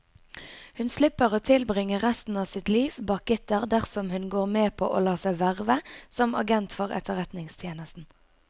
Hun slipper å tilbringe resten av sitt liv bak gitter dersom hun går med på å la seg verve som agent for etterretningstjenesten.